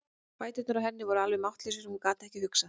Fæturnir á henni voru alveg máttlausir og hún gat ekki hugsað.